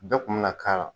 Bɛɛ kun bɛna k'a la